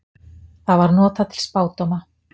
Það var notað til spádóma.